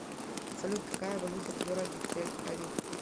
салют какая валюта в городе тель авив